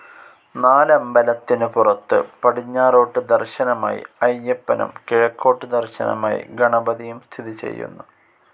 നാലമ്പലത്തിനു പുറത്തു പടിഞ്ഞാറോട്ടു ദർശനമായി അയ്യപ്പനും കിഴക്കോട്ടു ദർശനമായി ഗണപതിയും സ്ഥിതി ചെയ്യുന്നു.